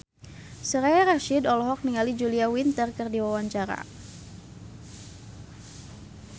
Soraya Rasyid olohok ningali Julia Winter keur diwawancara